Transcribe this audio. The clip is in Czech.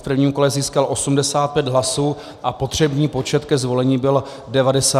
V prvním kole získal 85 hlasů a potřebný počet ke zvolení byl 94 hlasů.